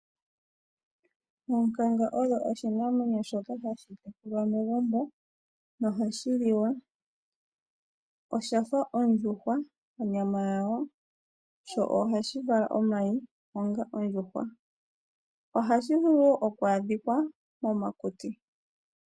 Oonkanga odho oshinamwenyo shoka hashi tekulwa megumbo nohashi liwa oshafa ondjuhwa onyama yawo sho ohashi vala omayi onga ondjuhwa. Ohashi vulu okwa adhika momakuti